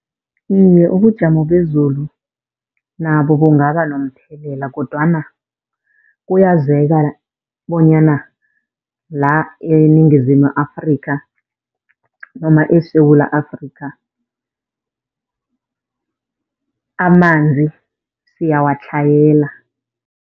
Iye, ubujamo bezulu nabo bungaba nomthelela kodwana kuyazeka bonyana la eNingizimu Afrikha, noma eSewula Afrikha, amanzi siyawatlhayela.